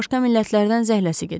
Başqa millətlərdən zəhləsi gedir.